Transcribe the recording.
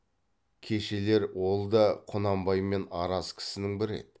кешелер ол да құнанбаймен араз кісінің бірі еді